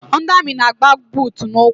Ndị amị na-agba buutu n'ụkwụ.